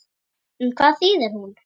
En hvað þýðir hún?